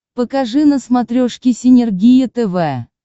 покажи на смотрешке синергия тв